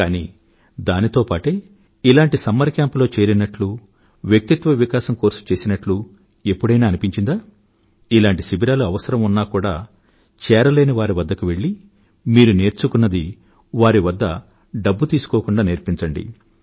కానీ దానితో పాటే ఇలాంటి సమ్మర్ కేంప్ లో చేరినట్లు వ్యక్తిత్వ వికాసం కోర్సు చేసినట్లు ఎప్పుడైనా అనిపించిందా ఇలాంటి కేంపుల అవసరం ఉన్నా కూడా చేరలేని వారి వద్దకు వెళ్ళి మీరు నేర్చుకున్నది వారి వద్ద డబ్బు తీసుకోకుండా నేర్పించండి